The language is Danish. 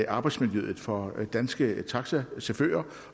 arbejdsmiljøet for danske taxachauffører